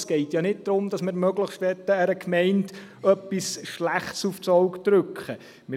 Es geht ja nicht darum, dass wir einer Gemeinde möglichst etwas Schlechtes aufs Auge drücken wollen.